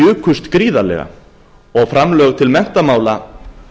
jukust gríðarlega og framlög til menntamála